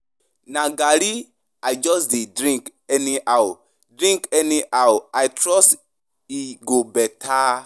Na garri I just dey drink anyhow, drink anyhow, I trust e go beta